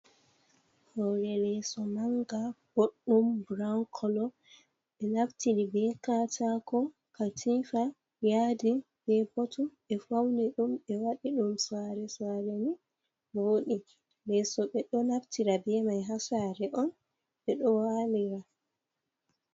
Hore leso manga boɗɗum buran kolo ɓe naftiri be katako, katifa, yadi, be botum ɓe fauni ɗum ɓe waɗi ɗum sali sali ni wooɗi. Leso ɓe ɗo naftira be mai ha sare on ɓe ɗo walira.